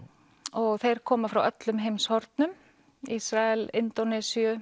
og þeir koma frá öllum heimshornum Ísrael Indónesíu